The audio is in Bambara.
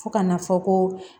Fo ka n'a fɔ ko